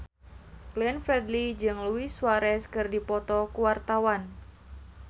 Glenn Fredly jeung Luis Suarez keur dipoto ku wartawan